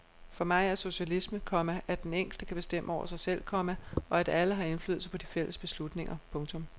For mig er socialisme, komma at den enkelte kan bestemme over sig selv, komma og at alle har indflydelse på de fælles beslutninger. punktum